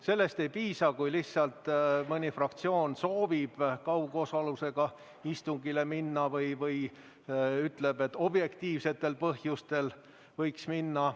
Sellest ei piisa, kui lihtsalt mõni fraktsioon soovib kaugosalusega istungile minna või ütleb, et objektiivsetel põhjustel võiks minna.